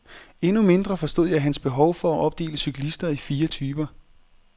Endnu mindre forstod jeg hans behov for at opdele cyklister i fire typer.